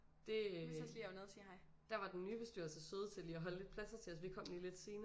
Det øh der var den nye bestyrelse søde til lige at holde lidt pladser til os vi kom jo lidt senere